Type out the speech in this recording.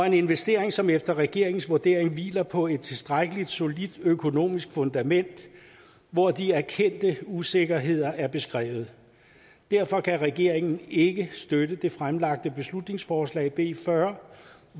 en investering som efter regeringens vurdering hviler på et tilstrækkelig solidt økonomisk fundament hvor de erkendte usikkerheder er beskrevet derfor kan regeringen ikke støtte det fremsatte beslutningsforslag b fyrre